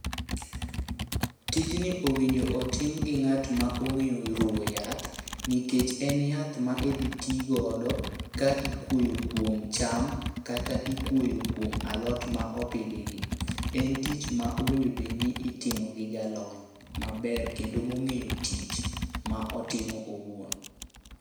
Tijni owinjo otim gi ng'at ma ong'eyo ruwo yath, nikech en yath ma idhi ti godo ka ikwoyo kuom cham kata ikwoyo kuom alot ma opidhi gi. En tich ma owinjo bedni itimo gi jalony maber kendo ma ong'eyo tich ma otimo owuon.